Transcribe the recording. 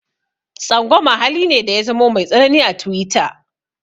Tsangwama hali ne da ya zamo mai tsanani a tiwita.